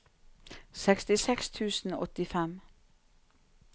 sekstiseks tusen og åttifem